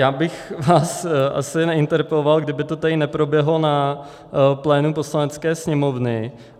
Já bych vás asi neinterpeloval, kdyby to tady neproběhlo na plénu Poslanecké sněmovny.